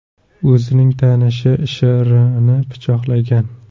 o‘zining tanishi Sh.R.ni pichoqlagan.